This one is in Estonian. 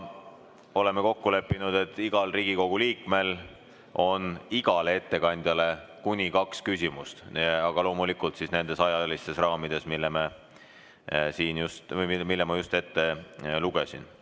Oleme kokku leppinud, et igal Riigikogu liikmel on õigus esitada igale ettekandjale kuni kaks küsimust, aga loomulikult nendes ajalistes raamides, mille ma just ette lugesin.